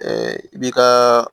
i bi ka